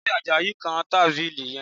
Ṣe Àjàyí ń kan tábìlì yẹn?